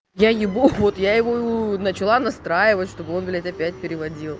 я ебу вот я его начала настраивать чтобы он блядь опять переводил